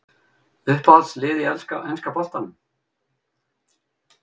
Uppáhalds lið í enska boltanum?